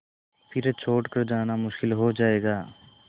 फिर छोड़ कर जाना मुश्किल हो जाएगा